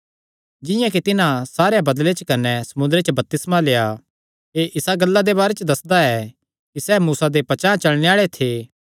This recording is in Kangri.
जिंआं कि तिन्हां सारेयां बदल़े च कने समुंदरे च बपतिस्मा लेआ एह़ इसा गल्ला दे बारे दस्सदा ऐ कि सैह़ मूसा दे पचांह़ चलणे आल़े थे